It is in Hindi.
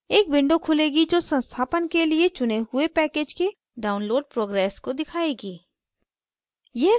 एक window खुलेगी जो संस्थापन के लिए चुने हुए package के download progress को दिखाएगी